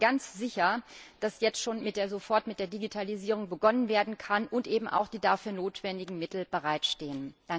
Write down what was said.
Ich bin aber ganz sicher, dass jetzt schon sofort mit der Digitalisierung begonnen werden kann, und eben auch die dafür notwendigen Mittel bereitstehen.